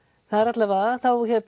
allavega þá